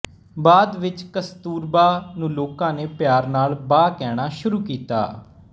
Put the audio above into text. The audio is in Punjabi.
ਬਾਅਦ ਵਿੱਚ ਕਸਤੂਰਬਾ ਨੂੰ ਲੋਕਾਂ ਨੇ ਪਿਆਰ ਨਾਲ ਬਾ ਕਹਿਣਾ ਸ਼ੁਰੂ ਕੀਤਾ